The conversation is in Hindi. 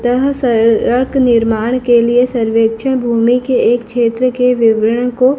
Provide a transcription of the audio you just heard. ताहा सरडक निर्माण के लिए सर्वेक्चा भूमि के एक क्षेत्र के विवरन को--